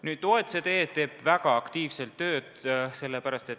OECD teeb selles valdkonnas väga aktiivselt tööd.